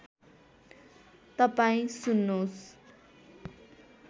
तपाईँ सुन्नोस्